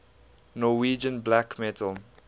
norwegian black metal